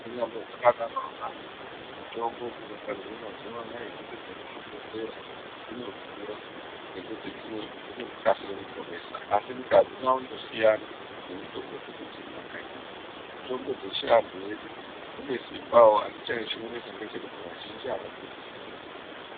Kunyazi zvakadaro zvonazvo mitombo dzinogadzirwa mazuva anawa zvese zvemuzvi bhedhlera dzinodhura nekuti dzinokasira kuponesa asi nekuti adzinyaso kusuina nemitombo dzedu dzemakanyi mitombo dzechivantu dzedu dzine simbawo asi vazhinji avadzizivi.